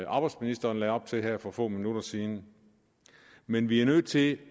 arbejdsministeren lagde op til her for få minutter siden men vi er nødt til